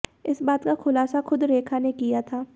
इस बात का खुलासा खुद रेखा ने किया था